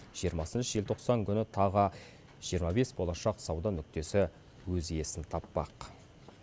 жиырмасыншы желтоқсан күні тағы жиырма бес болашақ сауда нүктесі өз иесін таппақ